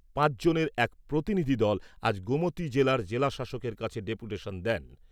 পাঁচজনের এক প্রতিনিধি দল আজ গোমতী জেলার জেলা শাসকের কাছে ডেপুটেশন দেন।